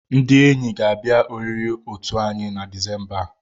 Ndị enyi ga-abịa oriri otu anyị na Disemba a.